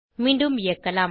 மீண்டும் இயக்கலாம்